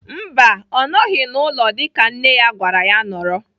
Mba, ọ nọghị n'ụlọ dịka nne ya gwara ya nọrọ.